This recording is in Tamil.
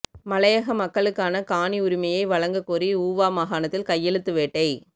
மலையக மக்களுக்கான காணி உரிமையை வழங்கக் கோரி ஊவா மாகாணத்தில் கையெழுத்து வேட்டை